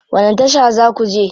Wani tasha za ku je?